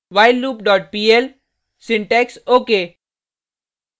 whilelooppl syntax ok